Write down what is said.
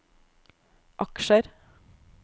aksjer